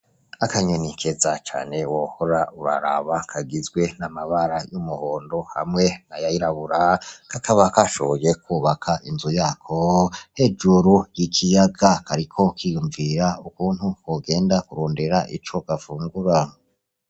Akanyoni keza cane wohora uraraba kagizwe n'amabara y'umuhondo hamwe n'ayirabura, kakaba kashoboye inzu yako hejuru y'ikiyaga, kariko kiyumvira ukuntu kogenda kurondera ico gafungura.